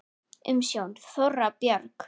Umsjón: Þóra Björg.